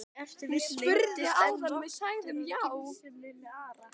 Ef til vill leyndist enn vottur af skynsemi með Ara?